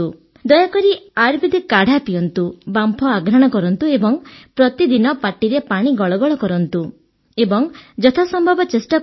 ଦୟାକରି ଆୟୁର୍ବେଦିକ କାଢା ପିଅନ୍ତୁ ବାମ୍ଫ ଆଘ୍ରାଣ କରନ୍ତୁ ଏବଂ ପ୍ରତିଦିନ ପାଟିରେ ପାଣି ଗଳଗଳ କରନ୍ତୁ ଏବଂ ପ୍ରାଣାୟାମ କରିବାକୁ ଚେଷ୍ଟା କରନ୍ତୁ